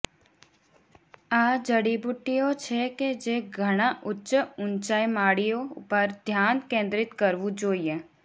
આ જડીબુટ્ટીઓ છે કે જે ઘણા ઉચ્ચ ઊંચાઇ માળીઓ પર ધ્યાન કેન્દ્રિત કરવું જોઈએ